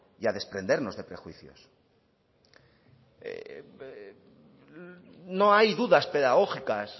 y a desprendernos de prejuicios no hay dudas pedagógicas